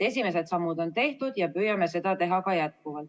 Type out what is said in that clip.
Esimesed sammud on tehtud ja püüame tegutseda edasi.